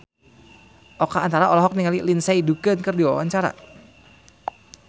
Oka Antara olohok ningali Lindsay Ducan keur diwawancara